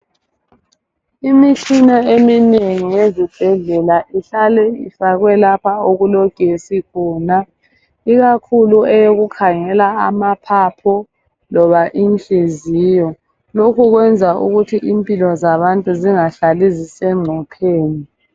Imitshina eminengi ezibhedlela ihlala ifakwe lapha okulogesi khona ikakhulu eyokukhangela amaphapho loba inhliziyo. Lokhu kwenza ukuthi impilo zabantu zingahlali zisencupheni.